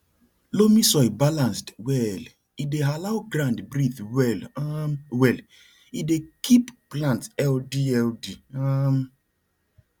loamy soil balanced well e dey allow ground breathe well um well e dey keep plant healthy healthy um